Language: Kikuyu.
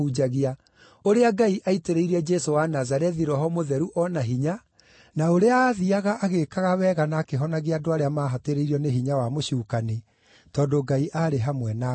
ũrĩa Ngai aaitĩrĩire Jesũ wa Nazarethi Roho Mũtheru o na hinya, na ũrĩa aathiiaga agĩĩkaga wega na akĩhonagia andũ arĩa maahatĩrĩirio nĩ hinya wa mũcukani, tondũ Ngai aarĩ hamwe nake.